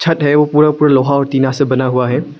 छत है वो पूरा पूरा लोहा और टीना से बना हुआ है।